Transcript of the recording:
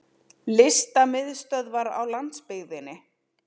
Listamiðstöðvar á landsbyggðinni!